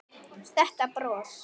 Þetta bros!